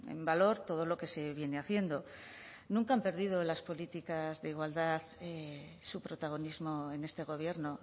en valor todo lo que se viene haciendo nunca han perdido las políticas de igualdad su protagonismo en este gobierno